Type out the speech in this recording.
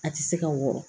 A tɛ se ka wɔɔrɔ